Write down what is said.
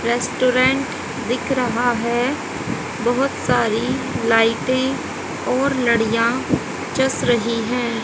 Restaurant दिख रहा है बहोत सारी लाइटें और लडिया चस रही है।